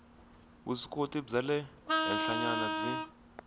vuswikoti bya le henhlanyana byi